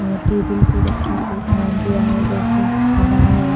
अ table पर रखा अ अ गया है जैसे अनार है।